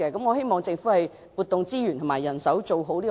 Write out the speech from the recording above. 我希望政府調撥資源和人手，做好基層健康服務。